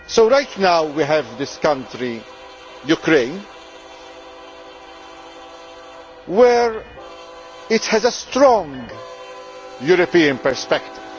Right now we have this country, Ukraine, which has a strong European perspective.